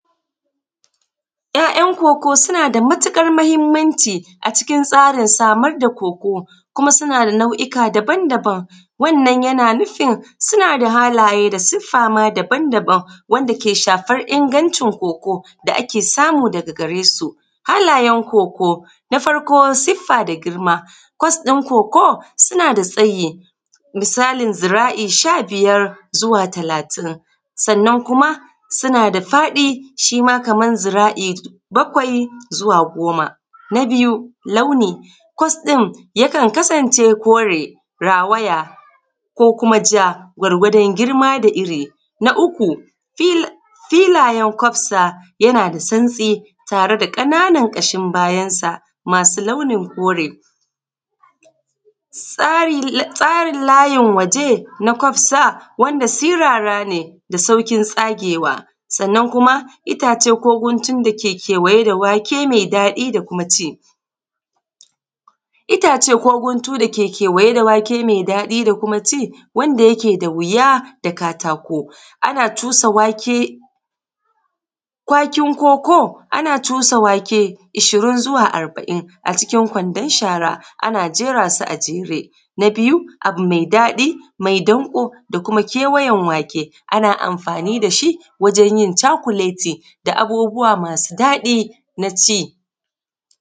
'Ya'yan kokoo suna da matuƙar muhimmanci acikin tsarin samar da koko kuma suna nau’uka daban-daban, wannan yana nufin suna da halaye da siffa maa daban-daban wanda ke shafar ingancin koko da ake samu daga garesu. halayen koko na farko siffa da girma kos ɗin koko suna da tsayi misalin ziraa’i sha-biyar zuwa talaatin, sannan kuma suna da faɗi shi ma kamar zira’i bakwai zuwa goma. Na biyu launi, kos ɗin yakan kasance kore rawaya ko kuma ja gwargwadon girma da iri. Na uku filayen kofsa yana da santsi tare da ƙananan ƙashin bayan sa maasu launin kore. Tsarin layin waje na kofsa wanda sirara ne da sauƙin tsagewa sannan kuma itaace ko guntun dake kewaye da wake mai daɗi da kuma ci. Itaace guntun dake kewaye da wake mai daɗi da kuma ci wanda yake da wuya da kuma katako, ana cusa wake kwakin koko ana cusa wake ishirin zuwa arba’in acikin kwandon shara ana jera su a jere. Na biyu abu mai daɗi mai danƙo da kuma kewayen wake ana amfaani da shi wajen yin cakuleti da abubuwa maa su daɗi na ci